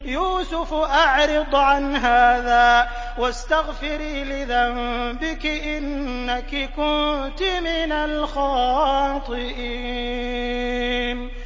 يُوسُفُ أَعْرِضْ عَنْ هَٰذَا ۚ وَاسْتَغْفِرِي لِذَنبِكِ ۖ إِنَّكِ كُنتِ مِنَ الْخَاطِئِينَ